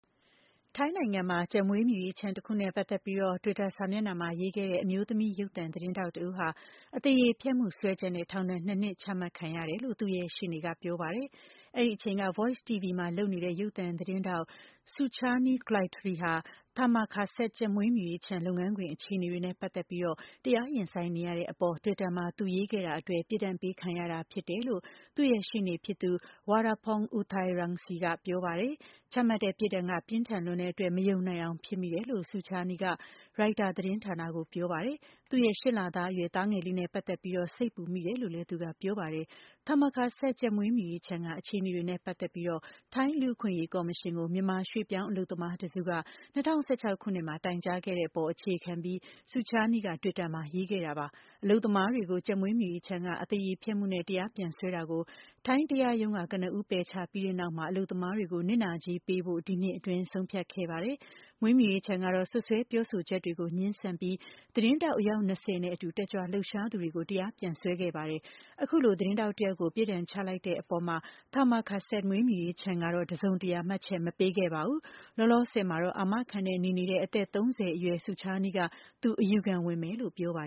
ထိုင်းနိုင်ငံမှာ ကြက်မွေးမြူရေးခြံတခုနဲ့ ပတ်သက်ပြီး Twitter မှာ ရေးခဲ့တဲ့ အမျိုးသမီး ရုပ်သံသတင်းထောက်တဦးဟာ အသရေဖျက်မှု စွဲချက်နဲ့ ထောင်ဒဏ် ၂ နှစ် ချမှတ်ခံရတယ်လို့ သူ့ရဲ့ရှေ့နေကပြောပါတယ်။ အဲဒီအချိန်က Voice TV မှာလုပ်နေတဲ့ ရုပ်သံသတင်းထောက် Suchanee Cloitre ဟာ Thammakaset ကြက်မွေးမြူရေးခြံ လုပ်ငန်းခွင်အခြေအနေတွေနဲ့ပတ်သက်ပြီး တရားရင်ဆိုင်နေရတဲ့အပေါ် Twitter မှာ သူရေးခဲ့တာအတွက် ပြစ်ဒဏ်ပေးခံရတာ ဖြစ်တယ်လို့ သူ့ရဲ့ရှေ့နေဖြစ်သူ Woraporn Uthairangsee ကပြောပါတယ်။ ချမှတ်တဲ့ပြစ်ဒဏ်က ပြင်းထန်လွန်းတဲ့အတွက် မယုံနိုင်အောင်ဖြစ်မိတယ်လို့ Suchanee က ရိုက်တာသတင်းဌာနကို ပြောပါတယ်။ သူ့ရဲ့ ၈ လသားအရွယ် သားငယ်လေးနဲ့ပတ်သက်ပြီး စိတ်ပူမိတယ်လို့လည်း သူကပြေပါတယ်။ Thammakaset ကြက်မွေးမြူရေးခြံက အခြေအနေတွေနဲ့ပတ်သက်ပြီး ထိုင်း လူ့အခွင့်အရေးကော်မရှင်ကို မြန်မာ ရွှေ့ပြောင်း အလုပ်သမားတစုက ၂၀၁၆ ခုနှစ်မှာ တိုင်ကြားခဲ့တဲ့အပေါ် အခြေခံပြီး Suchanee က Twitter မှာ ရေးခဲ့တာပါ။ အလုပ်သမားတွေကို ကြက်မွေးမြူရေးခြံက အသရေဖျက်မှုနဲ့ တရားပြန်စွဲတာကို ထိုင်းတရားရုံးက ကနဦး ပယ်ချပြီးတဲ့နောက် အလုပ်သမားတွေကို နစ်နာကြေးပေးဖို့ ဒီနှစ်အတွင်း ဆုံးဖြတ်ခဲ့ပါတယ်။ မွေးမြူရေးခြံကတော့ စွပ်စွဲပြောဆိုချက်တွေကို ငြင်းဆန်ပြီး သတင်းထောက် အယောက် ၂၀ နဲ့အတူ တက်ကြွလှုပ်ရှားသူတွေကို တရားပြန်စွဲခဲ့ပါတယ်။ အခုလို သတင်းထောက်တယောက်ကို ပစ်ဒဏ်ချလိုက်တဲ့ အပေါ် Thammakaset မွေးမြူရေးခြံ ကတော့ တစုံတရာမှတ်ချက်မပေးခဲ့ပါဘူး။ လောလောဆယ်မှာ အာမခံနဲ့ နေနေတဲ့ အသက် ၃၀ အရွယ် Suchanee က သူ အယူခံဝင်မယ်လို့ ပြောပါ